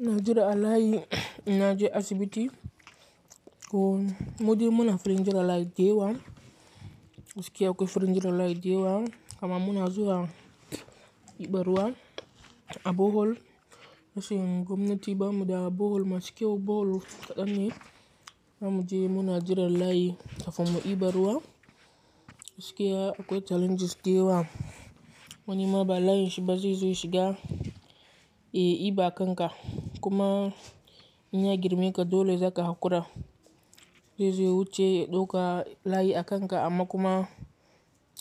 Ina jira a layi ina je asibiti. Ko, mudi muna firin jira layi dayawa, gaskiya akwai firin jira layi dayawa, amma muna zuwa iban ruwa a Bohol. Na ce gomnati ba mu da Bohol masu kyau Bohol kaɗan ne, zamuje muna jiran layi kafin mu iba ruwa. Miske akwai challenges deewa wani ma ba layin shiba zai zo ya shiga, ya iba kanka, kuma in ya girme ka dole zaka haƙura. Zai zo ya wuce ya ɗoka layi a kanka amma kuma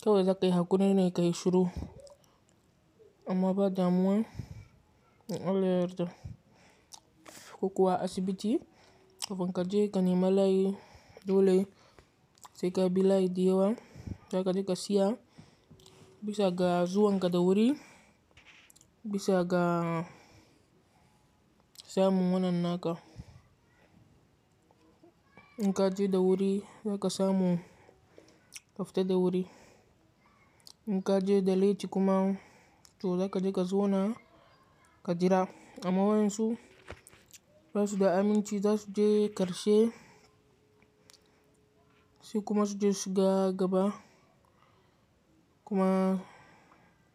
kawai zaka yi haƙuri ne ka yi shuru. Amma ba damuwa, in Allah ya yarda. Ko kuwa asibiti, kafin ka je ka nema layi, dole sai ka bi layi dayawa. Zaka je ka siya, bisa ga zuwanka da wuri, bisa ga samun wannan naka. In ka je da wuri zaka samu kafita da wuri. In ka je da laiti kuma, to zaka je ka zauna ka jira. Amma wa'insu ba su da aminci za su je ƙarshe sai kuma su je su shiga gaba, kuma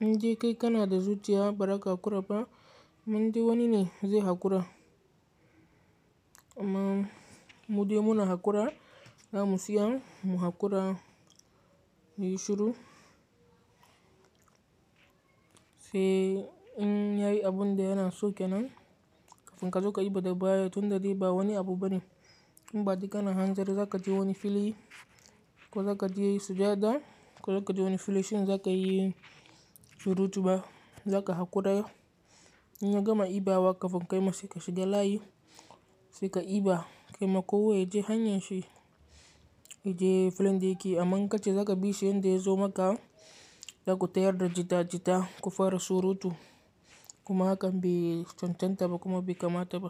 in de kai kana da zuciya ba zaka haƙura ba, amma inde wani ne zai haƙura. Amma mudai muna haƙura, zamu siya mu haƙura muyi shuru. Sai in yayi abun da yana so ke nan, kafin ka zo ka iba da baya tun da dai ba wani abu bane. In ba dai kana hanzari zaka je wani fili, ko zaka je sujada, ko zaka je wani filin shine zaka yi surutu ba zaka haƙura. In ya gama iba wa kafin kai ma sai ka shiga layi sai ka iba. Kaima kowa ya je hanyar shi, ya je filin da yake amma in ka je zaka bi shi yadda ya zo maka, zaku tayar da jita-jita, ku fara surutu kuma hakan bai cancanta ba kuma bai kamata ba.